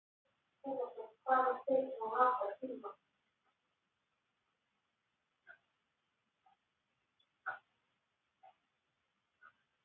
Þorbjörn Þórðarson: Hvað hefur tekið svona langan tíma?